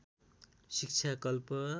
शिक्षा कल्प